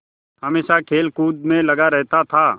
हमेशा खेलकूद में लगा रहता था